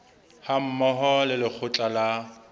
ha mmoho le lekgotla la